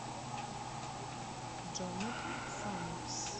джонатан саммерс